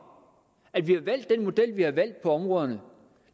at vi har valgt den model vi har valgt på områderne